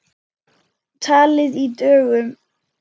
Talið í dögum.